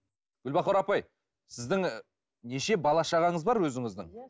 гүлбахор апай сіздің неше бала шағаңыз бар өзіңіздің